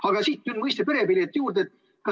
Aga siit nüüd mõiste "perepilet" juurde.